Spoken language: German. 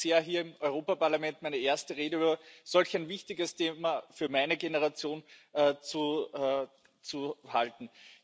Es freut mich sehr, hier im Europaparlament meine erste Rede über solch ein wichtiges Thema für meine Generation zu halten.